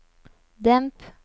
demp